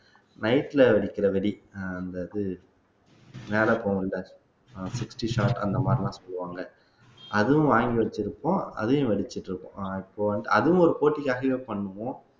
night ல வெடிக்கிற வெடி அந்த இது மேல போகும் இல்ல fifty shot அந்த மாதிரி எல்லாம் சொல்லுவாங்கல அதுவும் வாங்கி வச்சிருப்போம் அதையும் வெடிச்சுட்டு இருக்கோம் இப்ப வந்து அதுவும் ஒரு போட்டிக்காகவே பண்ணுவோம்